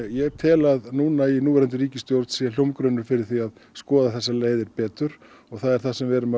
ég tel að í núverandi ríkisstjórn sé hljómgrunnur fyrir því að skoða þessar leiðir betur og það er það sem við erum að